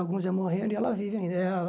Alguns já morreram e ela vive ainda. Eh